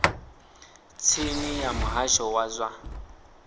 tsini ya muhasho wa zwa